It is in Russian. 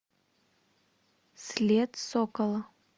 след сокола